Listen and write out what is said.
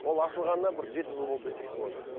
ол ашылғанына бір жеті жыл болды десек болады